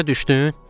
Başa düşdün?